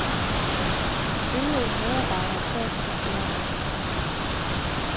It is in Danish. De øvrige medarbejdere sad på kontorerne.